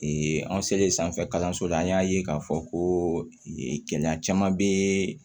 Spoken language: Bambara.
an selen sanfɛ kalanso la an y'a ye k'a fɔ ko gɛlɛya caman bɛ